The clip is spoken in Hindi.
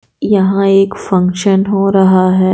यहां एक फंक्शन हो रहा है।